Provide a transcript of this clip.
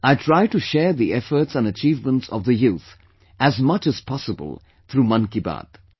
I try to share the efforts and achievements of the youth as much as possible through "Mann Ki Baat"